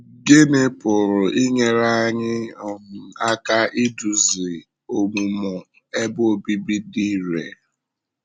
Gịnị pụrụ inyere anyị um aka idúzi ọmụmụ Ebe Obibi dị irè? um